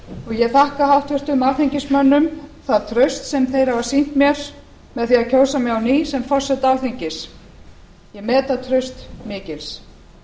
ég þakka háttvirtum alþingismönnum það traust sem þeir hafa sýnt mér með því að kjósa mig á ný forseta alþingis ég met það traust mikils